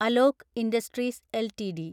Alok industries LTD